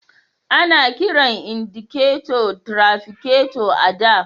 Ana kiran indiketo trafiketo a da.